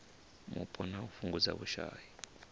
mupo na u fhungudza vhushai